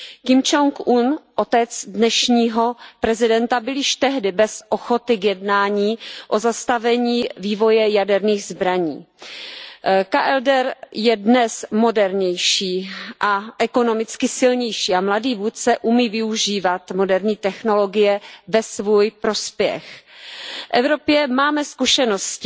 Kim Čong il, otec dnešního prezidenta, byl již tehdy bez ochoty k jednání o zastavení vývoje jaderných zbraní. Korejská lidově demokratická republika je dnes modernější a ekonomicky silnější a mladý vůdce umí využívat moderní technologie ve svůj prospěch. V Evropě máme zkušenosti